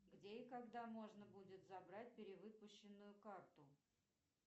где и когда можно будет забрать перевыпущенную карту